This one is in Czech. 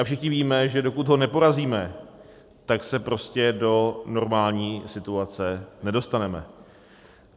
A všichni víme, že dokud ho neporazíme, tak se prostě do normální situace nedostaneme.